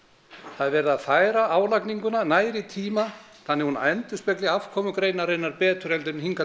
það er verið að færa álagninguna nær í tíma þannig að hún endurspegli afkomu greinarinnar betur en hingað